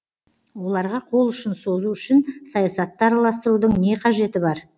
оларға қол ұшын созу үшін саясатты араластырудың не қажеті бар